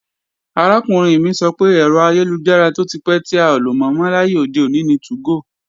Arákùnrin mi sọ pé, ẹ̀rọ ayélujára tó ti pẹ́ tí a ò lò mọ́ láyé òde òní ni 2go